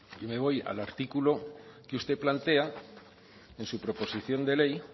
y me voy al artículo que usted plantea en su proposición de ley